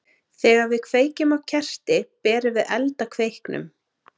Þegar við kveikjum á kerti berum við eld að kveiknum.